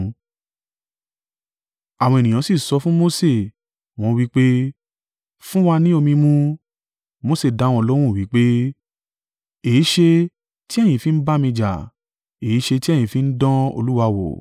Àwọn ènìyàn sì sọ̀ fún Mose, wọ́n wí pé, “Fún wa ni omi mu.” Mose dá wọn lóhùn wí pé, “Èéṣe ti ẹ̀yin fi ń bá mi jà? Èéṣe ti ẹ̀yin fi ń dán Olúwa wò?”